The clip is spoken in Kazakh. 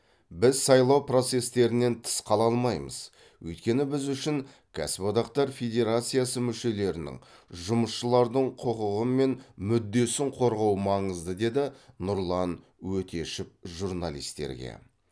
біз сайлау процестерінен тыс қала алмаймыз өйткені біз үшін кәсіподақтар федерациясы мүшелерінің жұмысшылардың құқығы мен мүддесін қорғау маңызды деді нұрлан өтешев журналистерге